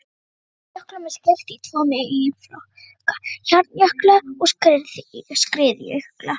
Jöklum er skipt í tvo meginflokka, hjarnjökla og skriðjökla.